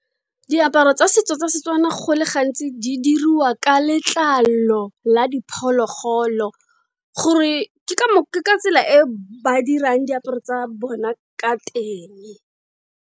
Diaparo tsa setso tsa Setswana go le ga ntsi di dirwa ka letlalo la diphologolo gore ke ka tsela e ba dirang diaparo tsa bona ka teng.